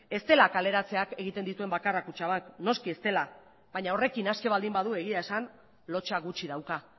ez dela kaleratzeak egiten dituen bakarra kutxabank noski ez dela baina horrekin aske baldin badu egia esan lotsa gutxi dauka